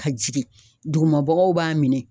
Ka jigin dugumabagaw b'a minɛ